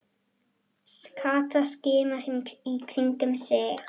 Kata skimaði í kringum sig.